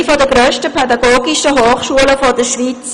Sie ist eine der grössten pädagogischen Hochschulen der Schweiz.